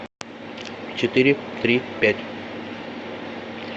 четыре три пять